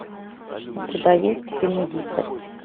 у тебя есть фильм дикость